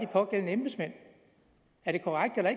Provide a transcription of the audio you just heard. pågældende embedsmænd er det korrekt eller